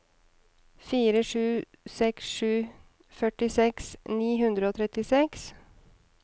fire sju seks sju førtiseks ni hundre og trettiseks